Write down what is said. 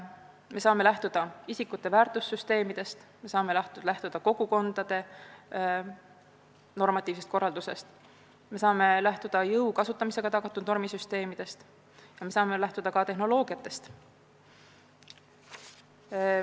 Me saame lähtuda isikute väärtussüsteemidest, kogukondade normatiivsest korraldusest, jõu kasutamisega tagatud normisüsteemidest ja ka tehnoloogiatest.